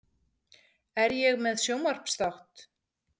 Er ég með sjónvarpsþátt?